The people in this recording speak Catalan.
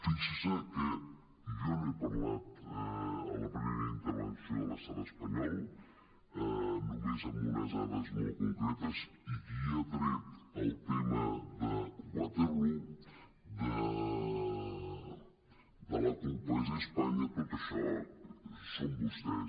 fixi’s que jo no he parlat a la primera intervenció de l’estat espanyol només amb unes dades molt concretes i qui ha tret el tema de waterloo de la culpa és de d’es·panya tot això són vostès